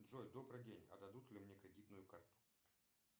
джой добрый день а дадут ли мне кредитную карту